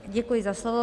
Děkuji za slovo.